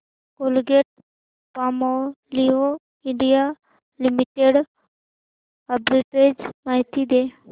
Colgate Palmolive India limited arbitrage माहिती दे